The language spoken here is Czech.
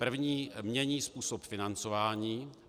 První: mění způsob financování.